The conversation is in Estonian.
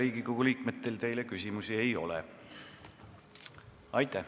Riigikogu liikmetel teile küsimusi ei ole.